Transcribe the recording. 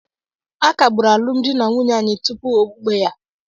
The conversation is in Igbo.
A kagburu alụmdi na nwunye anyị tupu okpukpe ya.